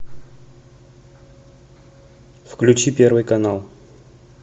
включи первый канал